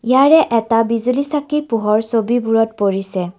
ইয়াৰে এটা বিজুলী চাকি পোহৰ ছবিবোৰত পৰিছে।